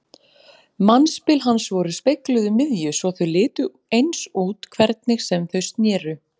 Mannspil hans voru spegluð um miðju svo þau litu eins út hvernig sem þau sneru.